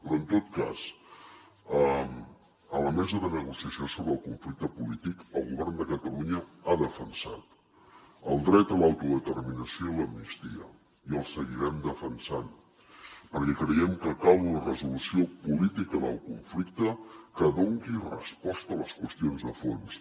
però en tot cas a la mesa de negociació sobre el conflicte polític el govern de catalunya ha defensat el dret a l’autodeterminació i l’amnistia i el seguirem defensant perquè creiem que cal una resolució política del conflicte que doni resposta a les qüestions de fons